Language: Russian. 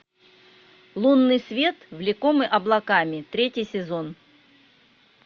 лунный свет влекомый облаками третий сезон